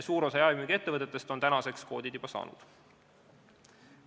Suur osa jaemüügiettevõtetest on koodid juba saanud.